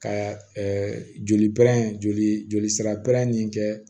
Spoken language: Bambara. Ka joli pɛrɛn joli joli sira pɛrɛn ni kɛ